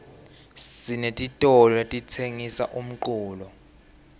sinetitolo letitsengisa umculo